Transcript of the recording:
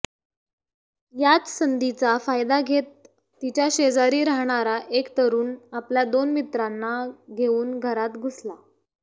याच संधीचा फायदा घेत तिच्या शेजारी राहणारा एक तरुण आपल्या दोन मित्रांना घेऊन घरात घुसला